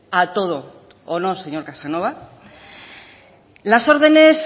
a todo o no señor casanova las órdenes